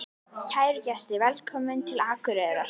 Kæru gestir! Velkomnir til Akureyrar.